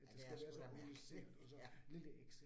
Ja det er da mærkeligt, ja